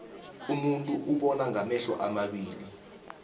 umuntu ubonangamehlo amabili